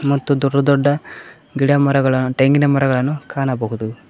ಮತ್ತು ದೊಡ್ಡ ದೊಡ್ಡ ಗಿಡಮರಗಳ ತೆಂಗಿನ ಮರಗಳನ್ನು ಕಾಣಬಹುದು.